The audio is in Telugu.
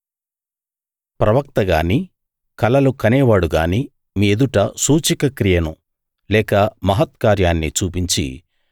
ప్రవక్త గానీ కలలు కనేవాడు గానీ మీ ఎదుట సూచక క్రియను లేక మహత్కార్యాన్ని చూపించి